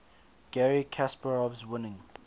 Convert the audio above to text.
garry kasparov's winning